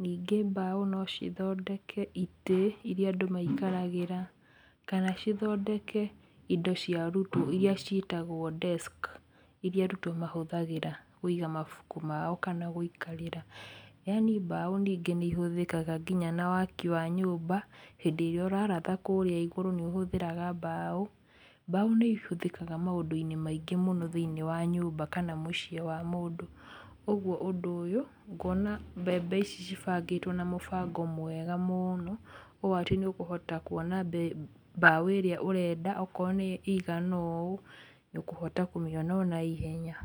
ningĩ mbaũ no cithondeke itĩ iria andũ maikaragĩra kana cithondeke indo cia arutwo iria ciĩtagwo desk iria arutwo mahũthagĩra kũiga mabuku mao kana gũikarĩra . Yaani mbaũ ningĩ nĩ ihũthĩkaga na waki wa nyũmba, hĩndĩ ĩrĩa ũraratha kũrĩa igũrũ nĩ ũhũthagĩra mbaũ , mbaũ nĩihũthĩkaga maũndũ-inĩ maingĩ mũno thĩinĩe wa nyũmba kana mũcĩe wa mũndũ ũguo ũndũ ũyũ ngona mbembe ici cibangĩtwo na mũbango mwega mũno ũũ atĩ nĩũkũhota kũona mbaũ ĩrĩa ũrenda okorwo ĩigana ũũ, nĩũkũhota kũmĩona ona ihenya.